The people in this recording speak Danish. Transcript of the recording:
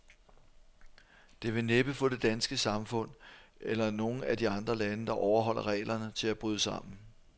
Det vil næppe få det danske samfund, eller nogen af de andre lande, der overholder reglerne, til at bryde sammen.